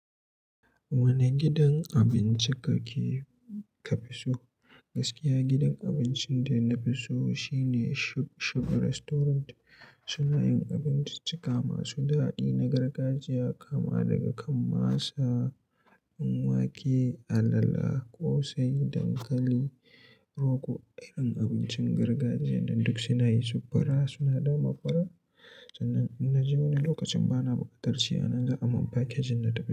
Wane gidan abinci kake ka fi so? Gaskiya gidan abincin da na fi so shine Shug Shug Restaurant. Suna yin abinciccika masu daɗi na gargajiya kama daga kan masa, wake, alala, ƙosai, dankali, rogo irin abincin gargajiya dan duk suna yi su fura suna da mafura. Sannan in na je wani lokacin bana buƙatar ci ana za a mun package na tafi.